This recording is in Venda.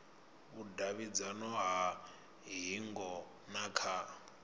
vhudavhidzano ha hingo na kha